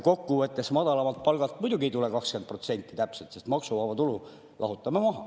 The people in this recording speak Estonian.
Kokkuvõttes muidugi ei tule madalamalt palgalt täpselt 20%, sest maksuvaba tulu lahutame maha.